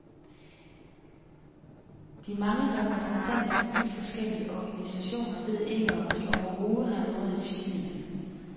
De mange repræsentanter fra vidt forskellige organisationer ved ikke, om de overhovedet har noget at sige hinanden.